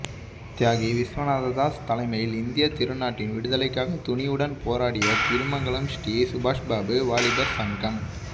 தியாகி விஸ்வநாததாஸ் தலைமையில் இந்திய திருநாட்டின் விடுதலைக்காக துணிவுடன் போராடிய திருமங்கலம் ஸ்ரீ சுபாஷ்பாபு வாலிபர் சங்கம்